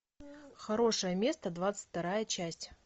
хорошее место двадцать вторая часть